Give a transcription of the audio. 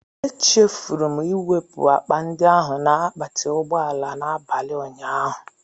Echefuru m iwepụ akpa ndị ahụ na akpati ụgbọ ala n'abalị ụnyaahụ.